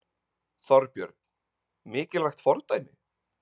Þorbjörn: Mikilvægt fordæmi?